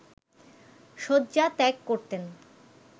শয্যা ত্যাগ করতেন